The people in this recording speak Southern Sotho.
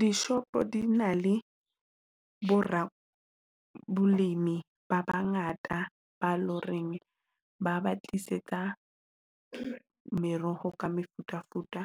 Dishopo di na le bo rabolemi ba bangata ba loreng ba ba tlisetsa meroho ka mefutafuta